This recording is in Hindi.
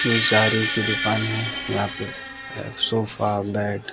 ये ज़ारी की दुकान है यहां पे अ सोफा बेड --